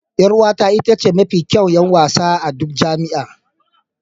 Yar'uwata ita ce mafi kyawun 'yan wasa a duk jami'a